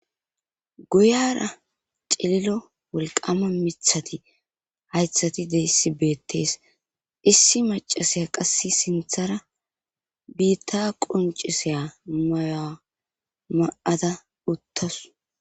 guyara cililo wolqama mithati haythati deyssi beettees issi macasiya qass sinthara biitta qoncisiya maya ma'aada uttasu